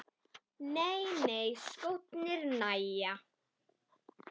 Nei nei, skórnir nægja.